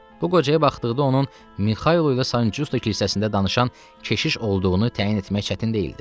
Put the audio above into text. Bu qocaya baxdıqda onun Mixaylovla Məncüslük kilsəsində danışan keşiş olduğunu təyin etmək çətin deyildi.